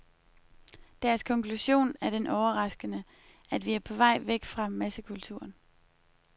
Deres konklusion er den overraskende, at vi er på vej væk fra massekulturen.